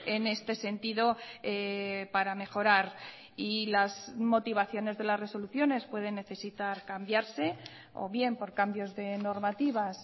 en este sentido para mejorar y las motivaciones de las resoluciones pueden necesitar cambiarse o bien por cambios de normativas